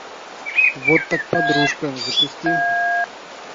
вот так подружка запусти